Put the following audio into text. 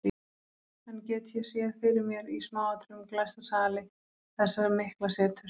Enn get ég séð fyrir mér í smáatriðum glæsta sali þessa mikla seturs.